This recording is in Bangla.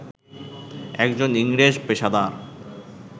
একজন ইংরেজ পেশাদার